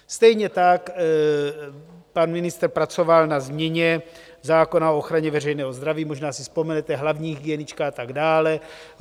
Stejně tak pan ministr pracoval na změně zákona o ochraně veřejného zdraví, možná si vzpomenete, hlavní hygienička a tak dále.